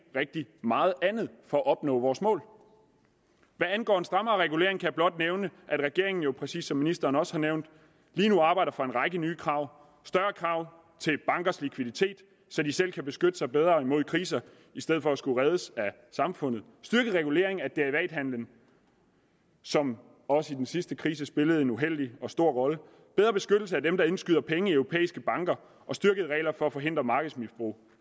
rigtig meget andet for at opnå vores mål hvad angår en strammere regulering kan jeg blot nævne at regeringen jo præcis som ministeren også har nævnt lige nu arbejder for en række nye krav større krav til bankers likviditet så de selv kan beskytte sig bedre mod kriser i stedet for at skulle reddes af samfundet styrket regulering af derivathandelen som også i den sidste krise spillede en uheldig og stor rolle bedre beskyttelse af dem der indskyder penge i europæiske banker og styrkede regler for at forhindre markedsmisbrug